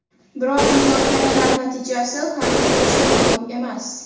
Biroq, muzokaralar natijasi hanuzgacha ma’lum emas.